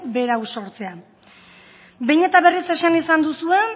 berau sortzea behin eta berriz esan izan duzue